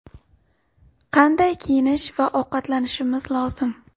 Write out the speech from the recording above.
Qanday kiyinish va ovqatlanishimiz lozim?